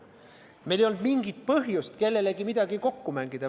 Meil ei olnud mingit põhjust kellegagi midagi kokku mängida.